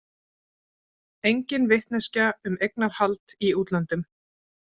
Engin vitneskja um eignarhald í útlöndum